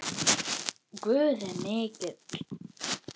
Guð er mikill.